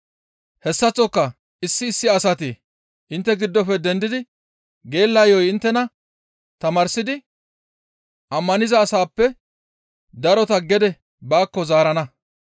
Hessaththoka issi issi asati intte giddofe dendidi geella yo7o inttena tamaarsidi ammaniza asaappe darota gede baakko zaarana.